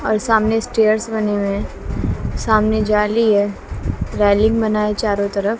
और सामने स्टेयर्स बने हुए हैं सामने जाली है रेलिंग बना है चारों तरफ।